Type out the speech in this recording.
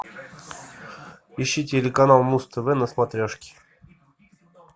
ищи телеканал муз тв на смотрешке